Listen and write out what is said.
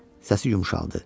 Səsi yumşaldı.